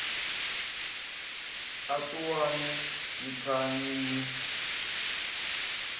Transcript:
a ṱuwani ni thanye ni